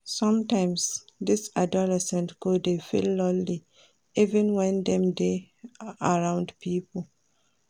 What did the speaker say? Sometimes, dese adolescents go dey feel lonely even wen dem dey around pipo.